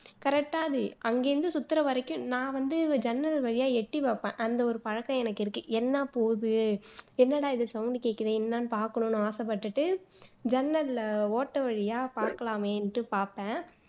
correct ஆ அது அங்கருந்து சுத்துற வரைக்கும் நான் வந்து ஜன்னல் வழியா எட்டி பாப்பேன் அந்த பழக்கம் எனக்ககு இருக்கு என்ன போவுது என்னட இது sound கேக்குதே என்னன்னு பாக்கணும்னு ஆசப்பட்டுட்டு ஜன்னல்ல ஓட்டை வழியா பாக்கலாமேன்னுட்டு பாப்பேன்